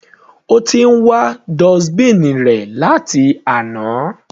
Ó ti ń wá dustbin rẹ̀ láti àná.